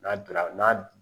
N'a donna n'a